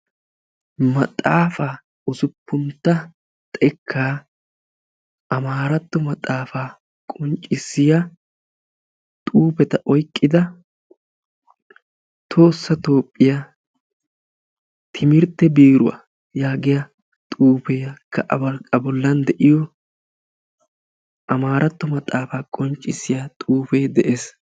Maxaafa ussuppuntta xekkaa amaratto maxaafa qonccissiya xuufeta oyqqida tohossa Toophiyaa timirtte biiruwa yaagiya xuugekka a bollan de'iyo amamratto maxaafaa qonccissiya xuufe de'ees